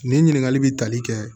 Nin ɲininkakali bɛ tali kɛ